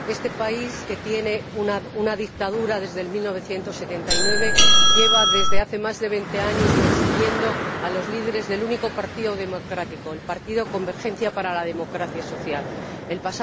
Este país, que tiene una dictadura desde 1979, lleva desde hace más de veinte años persiguiendo a los líderes del único partido democrático el partido Convergencia para la Democracia Social El